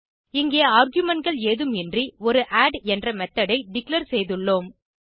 இங்கே argumentகள் ஏதும் இன்றி ஒரு ஆட் என்ற மெத்தோட் ஐ டிக்ளேர் செய்துள்ளோம்